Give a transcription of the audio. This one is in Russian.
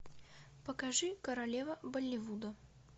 покажи королева болливуда